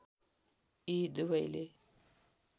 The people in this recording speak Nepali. यी दुवैले